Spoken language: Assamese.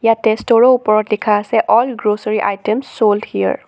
ইয়াতে ষ্ট'ৰ ৰ ওপৰত লিখা আছে all grocery items sold here.